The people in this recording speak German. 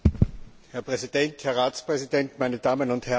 Herr Präsident, Herr Ratspräsident, meine Damen und Herren!